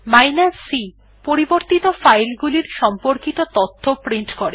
যেমন c160 পরিবর্তিত file গুলির সম্পর্কিত তথ্য প্রিন্ট করে